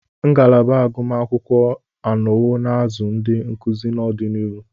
Ngalaba agụmakwụkwọ anọwo na-azụ ndị nkuzi n'ọdịnihu.